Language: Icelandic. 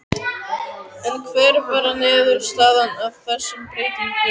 En hver var niðurstaðan af þessum breytingum?